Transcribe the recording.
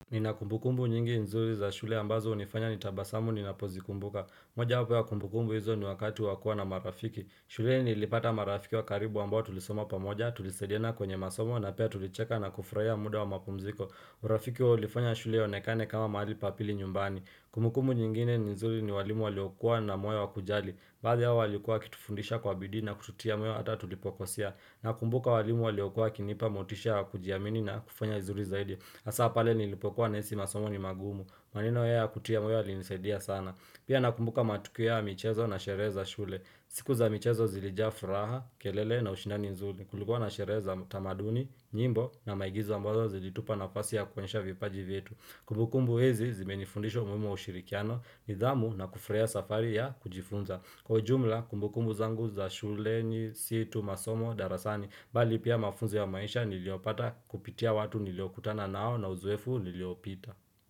Nina kumbukumbu nyingi nzuri za shule ambazo hunifanya nitabasamu ninapozikumbuka. Mojawapo ya kumbukumbu hizo ni wakati wakua na marafiki. Shuleni nilipata marafiki wakaribu ambao tulisoma pamoja tulisaidiana kwenye masomo na pia tulicheka na kufurahia muda wa mapumziko. Urafiki wao ulifanya shule ionekane kama mahali pa pili nyumbani. Kumbukumbu nyingine nzuri ni walimu waliokua na moyo wakujali. Baadhi yao walikuwa wakitufundisha kwa bidii na kututia moyo hata tulipokosea, nakumbuka walimu waliokua wakinipa motisha wa kujiamini na kufanya vizuri zaidi, hasaa pale nilipokuwa nahisi masomo ni magumu, maneno yao ya kutia moyo yalinisadia sana Pia nakumbuka matukio ya michezo na sherehe za shule siku za michezo zilijaa furaha, kelele na ushindani mzuri. Kulikuwa na sherehe za utamaduni, nyimbo na maigizo ambazo zilitupa nafasi ya kuonyesha vipaji vyetu Kumbukumbu hizi zimenifundisha umuhimu wa ushirikiano, nidhamu na kufurahia safari ya kujifunza. Kwa ujumla kumbukumbu zangu za shuleni si tu masomo darasani mbali pia mafunzo ya maisha niliopata kupitia watu niliokutana nao na uzoefu niliopita.